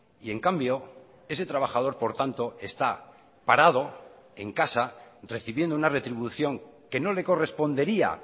y en cambio ese trabajador por tanto está parado en casa recibiendo una retribución que no le correspondería